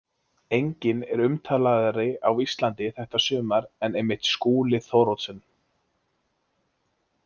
Enginn er umtalaðri á Íslandi þetta sumar en einmitt Skúli Thoroddsen.